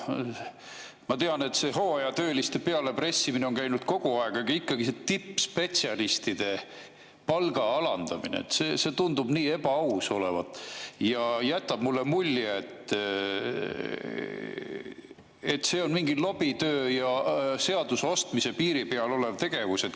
Ma tean, et hooajatööliste pealepressimine on käinud kogu aeg, aga ikkagi see tippspetsialistide palga alandamine tundub nii ebaaus olevat ja jätab mulle mulje, et see on mingi lobitöö ja seaduse ostmise piiri peal olev tegevus.